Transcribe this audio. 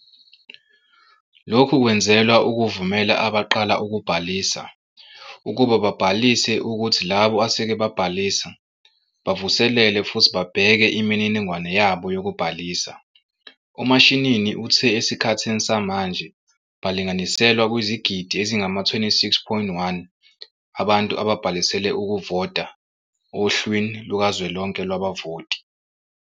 "Lokhu kwenzelwa ukuvumela abaqala ukubhalisa ukuba babhalise kuthi labo aseke babhalisa bavuselele futhi babheke imininingwane yabo yokubhalisa." UMashinini uthe esikhathini samanje balinganiselwa kwizigidi ezingama-26.1 abantu ababhalisele ukuvota ohlwini lukazwelonke lwabavoti.